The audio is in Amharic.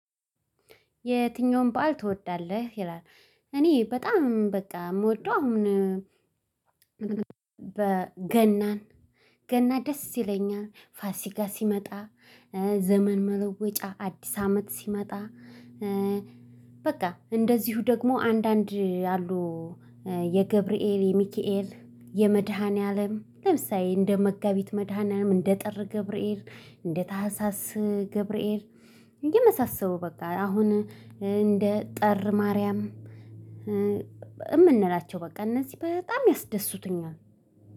የትኛውን በዓል ትወዳለህ? ይላል እኔ በጣም በቃ የምወደው አሁን በገና ገና ደስ ይለኛል። ፋሲጋ ሲመጣ ዘመን መለወጫ አዲስ አመት ሲመጣ በቃ እንደዚሁ ደግሞ አንዳንድ ያሉ የገብርኤል የሚካኤል የመድኃኒዓለም ለምሳሌ እንደ መጋቢት መድኃኒያም እንደ ጥር ገብርኤል እንደ ታህሳስ ገብርኤል የመሳሰሉ በቃ አሁን እንደ ጥር ማርያም የምንላቸው በቃ እነዚህ በጣም ያስደስቱኛል።